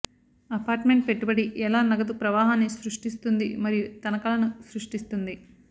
apartment పెట్టుబడి ఎలా నగదు ప్రవాహాన్ని సృష్టిస్తుంది మరియు తనఖాలను సృష్టిస్తుంది